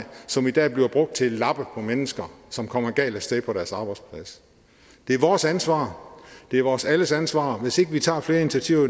som i dag bliver brugt til at lappe på mennesker som kommer galt af sted på deres arbejdsplads det er vores ansvar det er vores alles ansvar hvis vi ikke tager flere initiativer